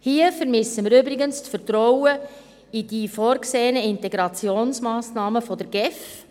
Hier vermissen wir übrigens das Vertrauen in die vorgesehenen Integrationsmassnahmen der GEF.